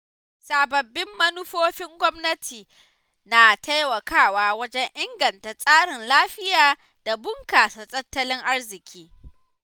Sababbin manufofin gwamnati na taimakawa wajen inganta tsarin lafiya da bunƙasa tattalin arziki.